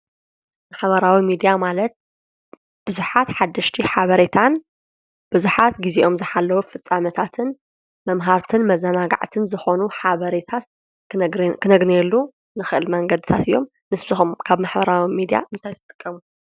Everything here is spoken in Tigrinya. ማሕበራዊ ሚድያ ማለት ብዙሓት ሓድሽቲ ሓበሬታትን ብዙሓት ጊዜኦም ዝሓለዉ ፍጻመታትን መምሃርትን መዛናናጋዕትን ዝኾኑ ሓበሬታት ክነግኔየሉ ንኽእል መንገድታት እዮም፡፡ ንስኹም ካብ ማሕበራዊ ሚድያ እንታይ ትጥቀሙ?